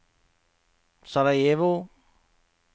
Sarajevo